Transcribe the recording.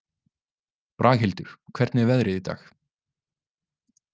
Braghildur, hvernig er veðrið í dag?